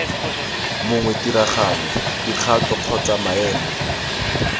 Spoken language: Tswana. mongwe tiragalo dikgato kgotsa maemo